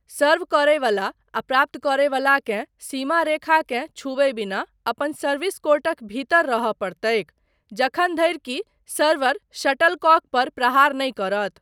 सर्व करयवला आ प्राप्त करयवला केँ सीमा रेखाकेँ छुबय बिना अपन सर्विस कोर्टक भीतर रहय पड़तैक जखन धरि कि सर्वर शटलकॉक पर प्रहार नहि करत।